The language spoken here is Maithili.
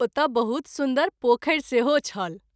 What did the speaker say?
ओतय बहुत सुन्दर पोखरि सेहो छल।